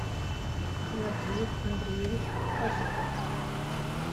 владимир андреевич пасеков